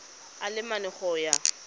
a le mane go ya